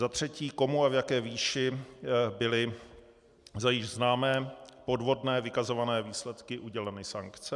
Za třetí, komu a v jaké výši byly za již známé podvodné vykazované výsledky uděleny sankce.